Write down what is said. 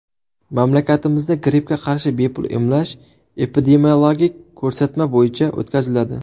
Mamlakatimizda grippga qarshi bepul emlash epidemiologik ko‘rsatma bo‘yicha o‘tkaziladi.